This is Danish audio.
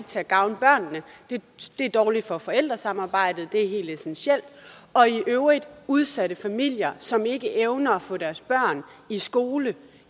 til at gavne børnene at det er dårligt for forældresamarbejdet det er helt essentielt og i øvrigt får udsatte familier som ikke evner at få deres børn i skole